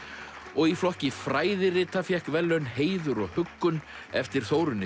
og í flokki fræðirita fékk verðlaun Heiður og huggun eftir Þórunni